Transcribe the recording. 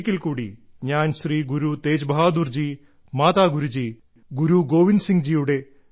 ഒരിക്കൽക്കൂടി ഞാൻ ശ്രീ ഗുരു തേജ് ബഹാദുർജി മാതാ ഗുരുജി ഗോവിന്ദ് സിംഗ്ജിയുടെ